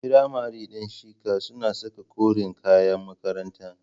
Firamare din shika suna saka koren kayan makaranta.